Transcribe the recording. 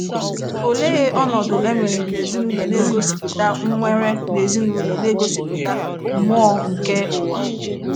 Olee ọnọdụ e nwere n’ezinụlọ n'egosipụta nwere n’ezinụlọ n'egosipụta mmụọ nke ụwa?